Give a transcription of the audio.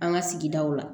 An ka sigidaw la